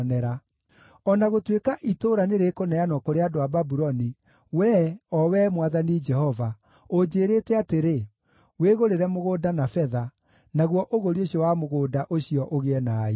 O na gũtuĩka itũũra nĩrĩkũneanwo kũrĩ andũ a Babuloni, wee, o wee Mwathani Jehova, ũnjĩĩrĩte atĩrĩ, ‘Wĩgũrĩre mũgũnda na betha, naguo ũgũri ũcio wa mũgũnda ũcio ũgĩe na aira.’ ”